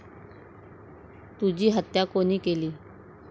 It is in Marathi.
तुझी हत्या कोणी केली?